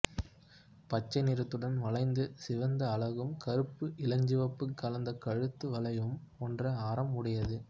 பச்சை நிறத்துடன் வளைந்து சிவந்த அலகும் கருப்பு இளஞ்சிவப்பு கலந்த கழுத்து வளையம் போன்ற ஆரம் உடையது